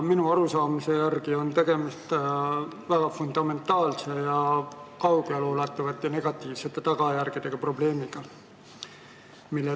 Minu arusaamise järgi on tegemist väga fundamentaalse ja kaugeleulatuvate negatiivsete tagajärgedega probleemiga.